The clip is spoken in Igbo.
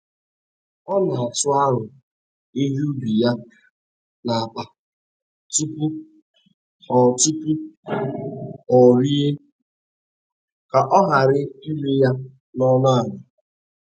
Ọ n'atụ aro ihe ubi ya n’akpa tupu o tupu o ree, ka ọ ghara ire ya n'ọnụ ala